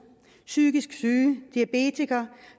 psykisk syge diabetikere